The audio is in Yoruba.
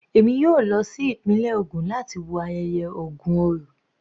Èmi yóò lọ sí ìpínlẹ̀ ògùn láti wo ayẹyẹ Ògun orò.